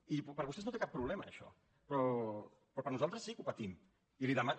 i per vostès no té cap problema això però per nosaltres sí que ho patim i li demano